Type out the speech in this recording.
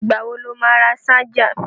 Ìgbà wo lo má ra ṣájà?